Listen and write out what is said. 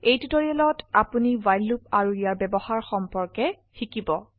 এই টিউটোৰিয়ালেত আপনি ৱ্হাইল লুপ আৰু ইয়াৰ ব্যবহাৰ সম্পৰ্কে শিকিব